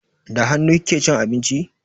Da hannu kike cin abinci?